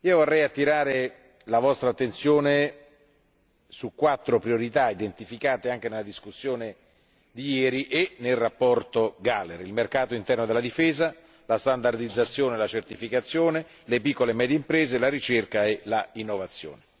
Vorrei attirare la vostra attenzione su quattro priorità, individuate anche nella discussione di ieri e nella relazione Gahler il mercato interno della difesa, la standardizzazione e la certificazione, le piccole e medie imprese, la ricerca e l'innovazione.